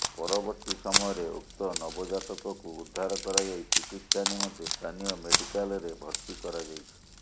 ପରବର୍ତ୍ତୀ ସମୟରେ ଉକ୍ତ ନବଜାତକକୁ ଉଦ୍ଧାର କରାଯାଇ ଚିକିତ୍ସା ନିମନ୍ତେ ସ୍ଥାନୀୟ ମେଡିକାଲରେ ଭର୍ତ୍ତି କରାଯାଇଛି